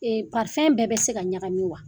Ee bɛɛ bɛ se ka ɲagami wa ?